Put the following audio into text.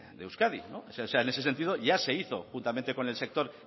de euskadi en ese sentido ya se hizo juntamente con el sector